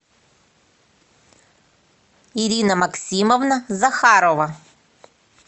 ирина максимовна захарова